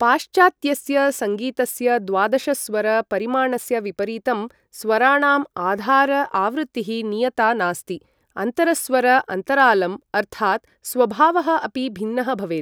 पाश्चात्यस्य सङ्गीतस्य द्वादशस्वर परिमाणस्य विपरीतं, स्वराणाम् आधार आवृत्तिः नियता नास्ति, अन्तरस्वर अन्तरालम्, अर्थात् स्वभावः अपि भिन्नः भवेत्।